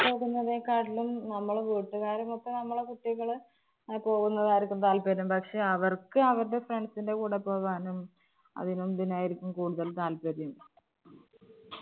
പോകുന്നതിനെ കാട്ടിലും നമ്മളുടെ വീട്ടുകാരും ഒത്ത് നമ്മുടെ കുട്ടികള് പോകുന്നതായിരിക്കും താല്പര്യം, പക്ഷെ അവർക്ക് അവരുടെ friends ന്റെ കൂടെ പോകാനും അതിനും ഇതിനും ആയിരിക്കും കൂടുതൽ താല്പര്യം.